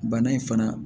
Bana in fana